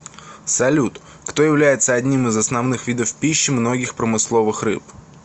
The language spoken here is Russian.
салют кто является одним из основных видов пищи многих промысловых рыб